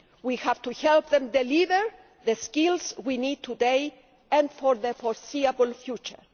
We have to help them deliver the skills we need today and for the foreseeable future.